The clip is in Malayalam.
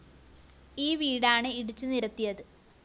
ഈ വീടാണ് ഇടിച്ചു നിരത്തിയത്